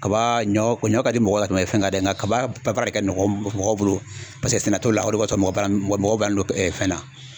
Kaba ɲɔ ɲɔ ka di mɔgɔ ye ka tɛmɛ fɛn kan dɛ nka kaba baara de ka nɔgɔ mɔgɔw bolo paseke sɛnɛ t'o la o de kɔsɔn mɔgɔw balanlen no fɛn na.